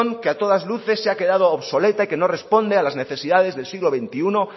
que a todas luces se ha quedado obsoleta y que no responde a las necesidades del siglo veintiuno